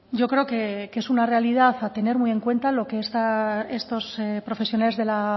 yo creo que es una realidad a tener muy en cuenta lo que estos profesionales de la